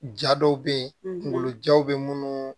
Ja dɔw bɛ ye kungolo jaw bɛ minnu